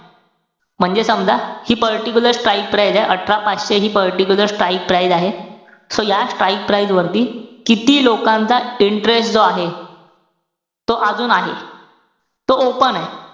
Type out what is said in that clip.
म्हणजे समजा, हि particular strike price ए, अठरा पाचशे हि particular strike price आहे. So या strike price वरती किती लोकांचा interest जो आहे, तो अजून आहे. तो open ए.